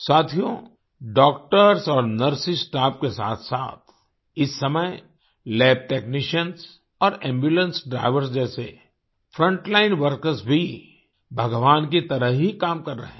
साथियो डॉक्टर्स और nursing staff के साथसाथ इस समय लैबटेक्निशियन्स और एम्बुलेंस ड्राइवर्स जैसे फ्रंटलाइन वर्कर्स भी भगवान की तरह ही काम कर रहे हैं